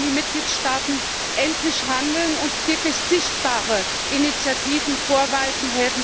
Jetzt müssen die Mitgliedstaaten endlich handeln und wirklich sichtbare Initiativen vorweisen.